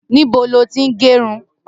Nibó ló ti n gẹrún?